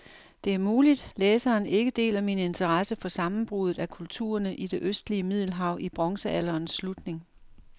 Det er muligt, læseren ikke deler min interesse for sammenbruddet af kulturerne i det østlige middelhav i bronzealderens slutning.